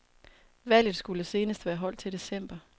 Valget skulle senest være holdt til december.